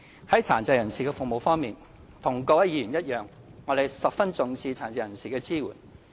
在殘疾人士服務方面，和各位議員一樣，我們十分重視對殘疾人士的支援。